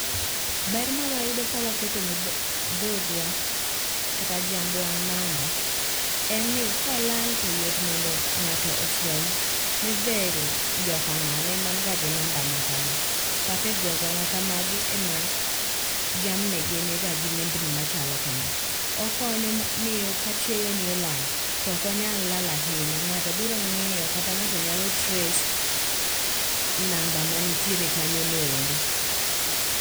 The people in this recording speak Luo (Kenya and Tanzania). Ber mawayudo ka waketo ne dhogwa kata jambwa namba, en ni kolal to yot mondo ng'ato ofweny ni dher jokang'ane manga ngi namba makama kata e gwenge makamagi ema jamnigi niga gi nembni machalo kama. Okonyo miyo ka chiayo ni olal tokonyal lal ahinya ng'ato biro ng'iyo kata ng'ato nyalo trace namba manitiere kanyono endo.